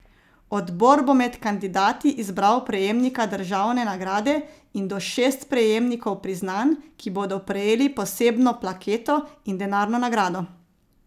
Odbor bo med kandidati izbral prejemnika državne nagrade in do šest prejemnikov priznanj, ki bodo prejeli posebno plaketo in denarno nagrado.